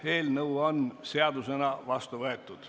Eelnõu on seadusena vastu võetud.